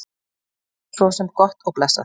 Sem er svo sem gott og blessað.